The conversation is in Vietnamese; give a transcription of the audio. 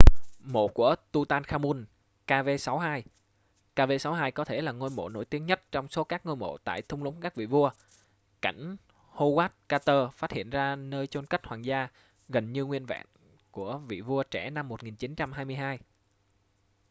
mộ của tutankhamun kv62. kv62 có thể là ngôi mộ nổi tiếng nhất trong số các ngôi mộ tại thung lũng các vị vua cảnh howard carter phát hiện ra nơi chôn cất hoàng gia gần như nguyên vẹn của vị vua trẻ năm 1922